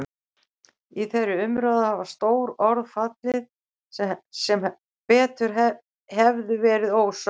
Í þeirri umræðu hafa stór orð fallið sem betur hefðu verið ósögð.